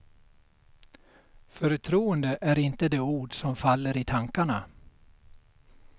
Förtroende är inte det ord som faller i tankarna.